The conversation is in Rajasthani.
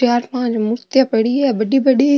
चार पांच मूर्तियां पड़ी है बड़ी बड़ी।